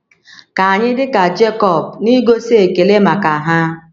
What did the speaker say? Ka anyị dị ka Jekọb n’igosi ekele maka ha.